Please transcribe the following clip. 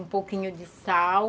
Um pouquinho de sal.